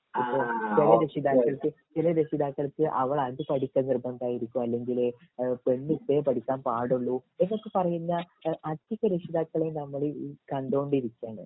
ഇപ്പൊ ചില രക്ഷിതാക്കൾക്ക് ചില രക്ഷിതാക്കൾക്ക് അവൾ അത് പടിക്കൽ നിർബന്ധായിരിക്കും അല്ലെങ്കില് പെണ്ണ് ഇതേ പഠിക്കാൻ പാടൊള്ളു എന്നൊക്കെ പറയുന്ന അധിക രക്ഷിതാക്കളേം ഞങ്ങൾ കണ്ടോണ്ടിരിക്കേണ്